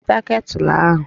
Weta ketụlụ ahụ!